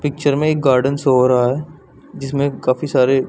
picture में एक garden show हो रहा है जिसमें काफी सारे --